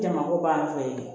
Jamakuba fɛ yen